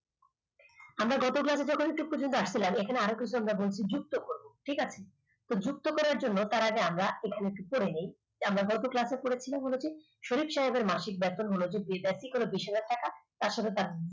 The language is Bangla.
আমরা এসেছি আজকের class এ আমরা একদম clear একদম ঠিক এই salary sheet টার মধ্যে আমাদের পুরো sheet টা খুলে ফেলার ইচ্ছা থাকলো চলুন শুরু করা যাক